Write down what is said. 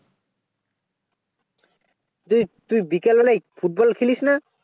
তুই তুই বিকালবেলা ফুটবল খেলিস না